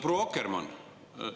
Proua Akkermann!